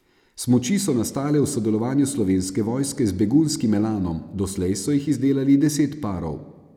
Smuči so nastale v sodelovanju Slovenske vojske z begunjskim Elanom, doslej so jih izdelali deset parov.